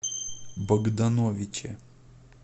богдановиче